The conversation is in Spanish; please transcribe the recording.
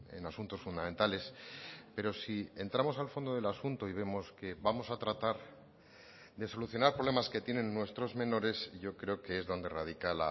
en asuntos fundamentales pero si entramos al fondo del asunto y vemos que vamos a tratar de solucionar problemas que tienen nuestros menores yo creo que es donde radica